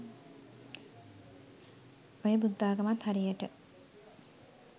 ඔය බුද්ධාගමත් හරියට